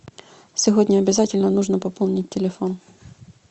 сегодня обязательно нужно пополнить телефон